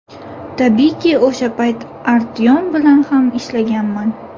Tabiiyki, o‘sha payt Artyom bilan ham ishlaganman.